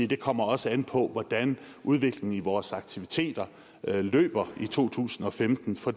det kommer også an på hvordan udviklingen i vores aktiviteter forløber i to tusind og femten for